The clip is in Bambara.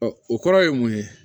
o kɔrɔ ye mun ye